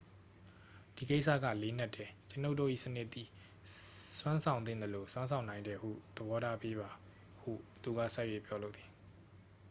"""ဒီကိစ္စက လေးနက်တယ်။ ကျွန်ုပ်တို့၏စနစ်သည် စွမ်းဆောင်သင့်သလို စွမ်းဆောင်နိုင်တယ်ဟု သဘောထားပေးပါ” ဟု သူက ဆက်၍ ပြောလိုသည်။